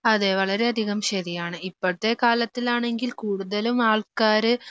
അതെ വളരെയധികം ശരിയാണ്. ഇപ്പഴത്തെ കാലത്തിലാണെങ്കിൽ കൂടുതലും ആൾക്കാര്